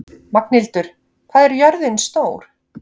Magnhildur, hvað er jörðin stór?